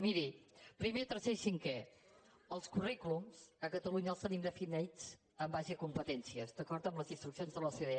miri primer tercer i cinquè els currículums a catalunya els tenim definits en base a competències d’acord amb les instruccions de l’ocde